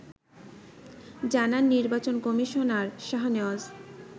জানান নির্বাচন কমিশনার শাহনেওয়াজ